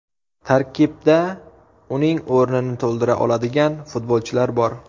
Tarkibda uning o‘rnini to‘ldira oladigan futbolchilar bor.